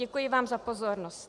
Děkuji vám za pozornost.